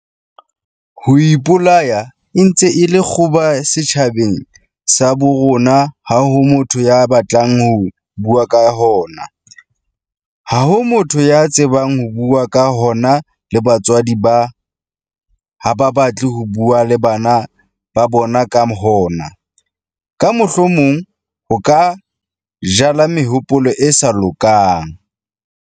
"Ho ipolaya e ntse e le kgoba setjhabeng sa bo rona ha ho motho ya batlang ho bua ka hona, ha ho motho ya tsebang ho bua ka hona le batswadi ha ba batle ho bua le bana ba bona ka hona, ka mohlomong ho ka 'jala mehopolo e sa lokang'."